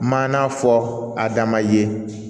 Maana fɔ adama ye